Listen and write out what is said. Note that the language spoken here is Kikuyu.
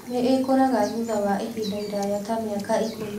Nĩ ĩkũraga thutha wa ihinda iraya ta mĩaka ĩkũmi.